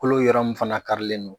Kalo yɔrɔ min fana karilen don.